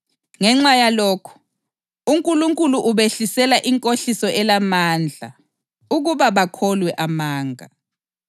Ngenxa yalokhu, uNkulunkulu ubehlisela inkohliso elamandla ukuba bakholwe amanga